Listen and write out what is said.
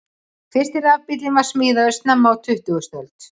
Fyrsti rafbíllinn var smíðaður snemma á tuttugustu öld.